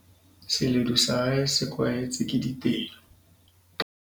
seledu sa hae se kwahetswe ke ditedu